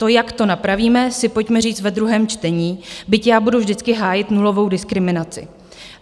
To, jak to napravíme, si pojďme říct ve druhém čtení, byť já budu vždycky hájit nulovou diskriminaci.